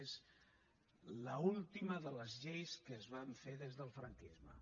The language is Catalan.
és l’última de les lleis que es van fer des del franquisme